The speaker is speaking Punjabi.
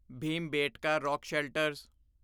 Bhimbetka rock shelters